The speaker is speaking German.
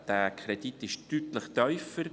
Der Kredit ist deutlich tiefer.